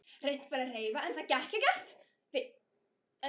Reynt var að hreyfa það en ekkert gekk.